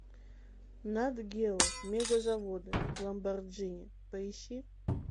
нат гео мегазаводы ламборджини поищи